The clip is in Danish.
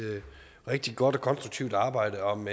rigtig godt og konstruktivt arbejde om